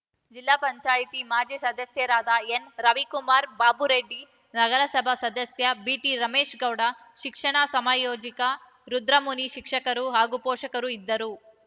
ಜಿಲ್ಲಾ ಪಂಚಾಯತಿ ಮಾಜಿ ಸದಸ್ಯರಾದ ಎನ್‌ರವಿಕುಮಾರ್‌ ಬಾಬುರೆಡ್ಡಿ ನಗರಸಭಾ ಸದಸ್ಯ ಬಿಟಿರಮೇಶ್‌ಗೌಡ ಶಿಕ್ಷಣ ಸಂಯೋಜಕ ರುದ್ರಮುನಿ ಶಿಕ್ಷಕರು ಹಾಗೂ ಪೋಷಕರು ಇದ್ದರು